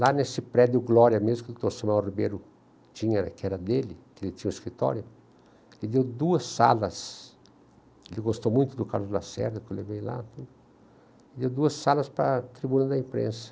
Lá nesse prédio, o Glória mesmo, que o doutor Samuel Ribeiro tinha, que era dele, que ele tinha o escritório, ele deu duas salas, ele gostou muito do Carlos Lacerda, que eu levei lá, deu duas salas para a tribuna da imprensa.